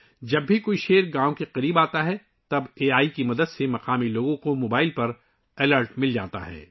جب بھی کوئی شیر گاؤں کے قریب آتا ہے تو اے آئی کی مدد سے مقامی لوگوں کو ، ان کے موبائل پر الرٹ ملتا ہے